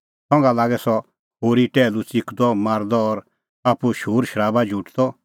संघा लागे सह होरी टैहलू च़िकदअ मारदअ और आप्पू शूरशराबा झुटदअ